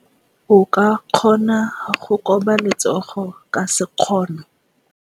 O ka kgona go koba letsogo ka sekgono.